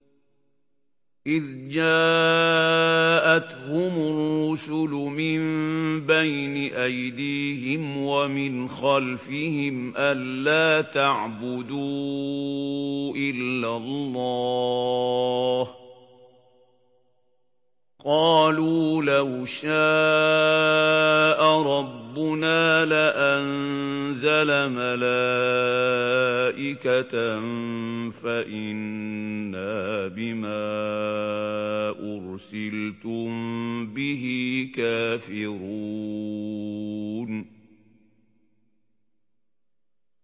إِذْ جَاءَتْهُمُ الرُّسُلُ مِن بَيْنِ أَيْدِيهِمْ وَمِنْ خَلْفِهِمْ أَلَّا تَعْبُدُوا إِلَّا اللَّهَ ۖ قَالُوا لَوْ شَاءَ رَبُّنَا لَأَنزَلَ مَلَائِكَةً فَإِنَّا بِمَا أُرْسِلْتُم بِهِ كَافِرُونَ